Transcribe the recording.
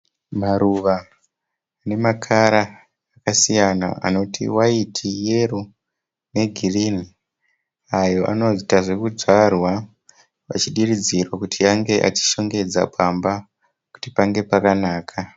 Maruva nemakara akasiyana anoti waiti, yero negirinhi ayo anowanzoita zvokudyarwa achidiridzirwa kuti ange achishongedza pamba kuti pange pakanaka.